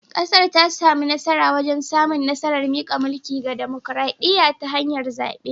Kasar ta samu nasara wajen samun nasarar mika mulki ga dimokradiyya ta hanyar zabe